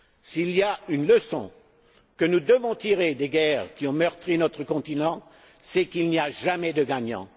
S'il y a une leçon que nous devons tirer des guerres qui ont meurtri notre continent, c'est qu'il n'y a jamais de gagnant.